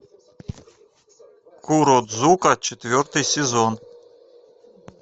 куродзука четвертый сезон